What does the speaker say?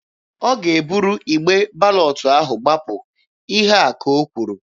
Ọ ga-eburu igbe balọtụ ahụ gbapụ. Ihe a ka o kwuru.